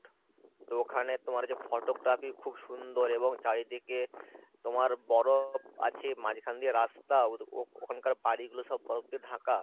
তো ওখানে তোমার হচ্ছে photography খুব সুন্দর এবং চারিদিকে তোমার বরফ আছে মাঝখান দিয়ে রাস্তা ও ওখানকার বাড়ি গুলো সব বরফ দিয়ে ঢাকা